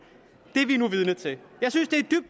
det vi nu er vidne til at